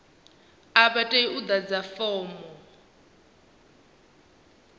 a vha tei u ḓadza fomo